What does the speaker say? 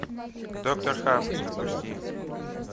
доктор хафф запусти